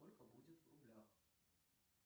сколько будет в рублях